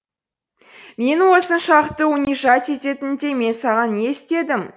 мені осыншалықты унижать ететіндей мен саған не істедім